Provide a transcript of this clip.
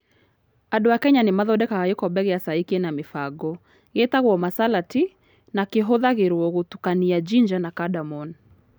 Andũ a Kenya nĩ mathondekaga gĩkombe kĩa cai kĩna mĩbango, gĩtagwo masala tea, na kĩhũthagĩrũo gũtukania ginger na cardamom.